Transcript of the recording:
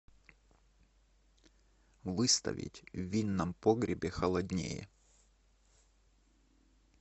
выставить в винном погребе холоднее